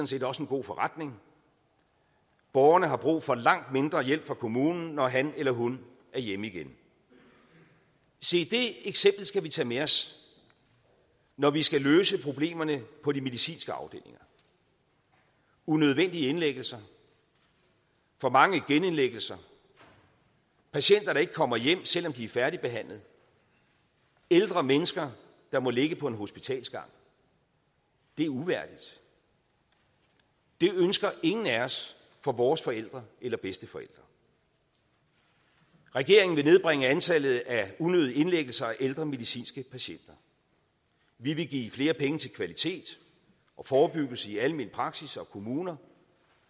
set også en god forretning borgeren har brug for langt mindre hjælp fra kommunen når han eller hun er hjemme igen se det eksempel skal vi tage med os når vi skal løse problemerne på de medicinske afdelinger unødvendige indlæggelser for mange genindlæggelser patienter der ikke kommer hjem selv om de er færdigbehandlet ældre mennesker der må ligge på en hospitalsgang det er uværdigt det ønsker ingen af os for vores forældre eller bedsteforældre regeringen vil nedbringe antallet af unødige indlæggelser af ældre medicinske patienter vi vil give flere penge til kvalitet og forebyggelse i almen praksis og kommuner